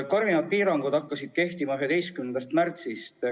Karmimad piirangud hakkasid kehtima 11. märtsil.